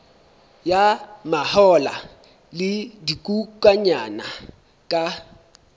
ya mahola le dikokwanyana ka